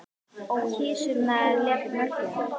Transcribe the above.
Kisurnar lepja mjólkina.